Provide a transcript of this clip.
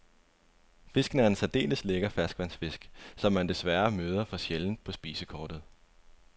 Fisken er en særdeles lækker ferskvandsfisk, som man desværre møder for sjældent på spisekortet.